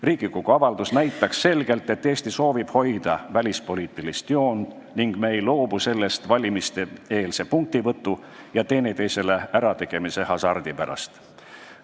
Riigikogu avalduse toetamine näitaks selgelt, et Eesti soovib hoida välispoliitilist joont ning me ei loobu sellest valimiste-eelse punktivõtu ja teineteisele ärategemise hasardi pärast.